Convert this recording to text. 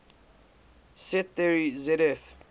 set theory zf